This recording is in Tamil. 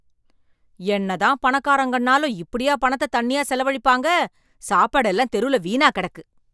என்ன தான் பணக்காரங்கன்னாலும் இப்படியா பணத்த தண்ணியா செலவழிப்பாங்க. சாப்பாடெல்லாம் தெருல வீணா கிடக்கு.